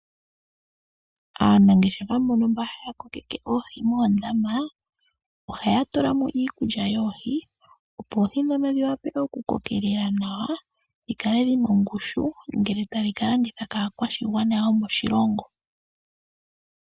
Aanangeshefa mbono haya tekula oohi moondama ohaye dhi pele mo iikulya yoohi, opo oohi dhiwape okukokelela nawa dhikale shina ongushu uuna tadhi ka landithwa kaakwashigwana yomoshilongo.